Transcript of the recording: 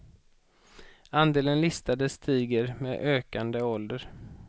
Andelen listade stiger med ökande ålder.